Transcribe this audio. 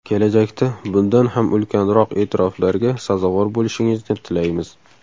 Kelajakda bundan ham ulkanroq e’tiroflarga sazovor bo‘lishingizni tilaymiz.